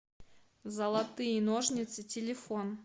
золотые ножницы телефон